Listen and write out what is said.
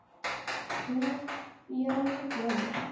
Ég er orðin svo gömul.